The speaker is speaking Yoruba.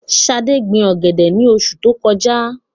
Ṣadé gbin ọ̀gẹ̀dẹ̀ ní oṣu tó kọjá.